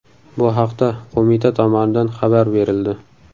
Bu haqda qo‘mita tomonidan xabar berildi .